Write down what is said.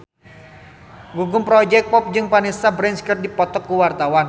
Gugum Project Pop jeung Vanessa Branch keur dipoto ku wartawan